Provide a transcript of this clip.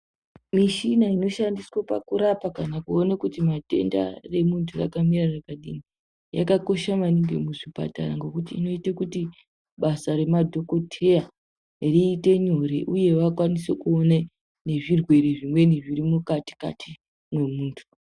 Mishina inoshandiswe pakurapa kana kuona kuti matenda emuntu akamira sei ,yakakosha maningi muzvipatara, ngekuti inoita kuti basa remadhokotheya riite nyore, uye vakwanise kuone nezvirwere zvimweni zviri mukati-kati memuntu.